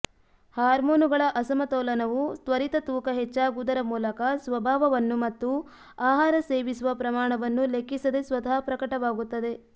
ಹಾರ್ಮೋನುಗಳ ಅಸಮತೋಲನವು ತ್ವರಿತ ತೂಕ ಹೆಚ್ಚಾಗುವುದರ ಮೂಲಕ ಸ್ವಭಾವವನ್ನು ಮತ್ತು ಆಹಾರ ಸೇವಿಸುವ ಪ್ರಮಾಣವನ್ನು ಲೆಕ್ಕಿಸದೆ ಸ್ವತಃ ಪ್ರಕಟವಾಗುತ್ತದೆ